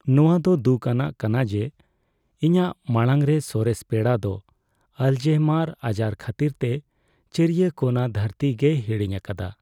ᱱᱚᱶᱟ ᱫᱚ ᱫᱩᱠ ᱟᱱᱟᱜ ᱠᱟᱱᱟ ᱡᱮ ᱤᱧᱟᱹᱜ ᱢᱟᱲᱟᱝ ᱨᱮ ᱥᱚᱨᱮᱥ ᱯᱮᱲᱟ ᱫᱚ ᱟᱞᱮᱡᱦᱳᱭᱢᱟᱨ ᱟᱡᱟᱨ ᱠᱷᱟᱹᱛᱤᱨᱛᱮ ᱪᱟᱹᱨᱤᱭᱟᱹ ᱠᱳᱱᱟ ᱫᱷᱟᱹᱨᱛᱤ ᱜᱮᱭ ᱦᱤᱲᱤᱧ ᱟᱠᱟᱫᱟ ᱾